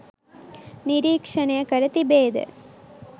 නිරීක්ෂණය කර තිබේද?